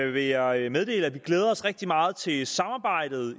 vil jeg meddele at vi glæder os rigtig meget til samarbejdet